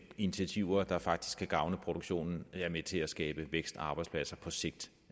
initiativer der faktisk kan gavne produktionen er med til at skabe vækst og arbejdspladser på sigt